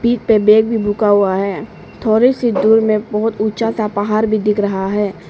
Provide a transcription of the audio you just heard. पीठ पे बेग भी हुआ है थोड़ी सी दूर में बहुत ऊंचा था पहाड़ भी दिख रहा है।